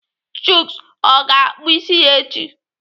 Chuks ọ ga-akpụ isi ya echi?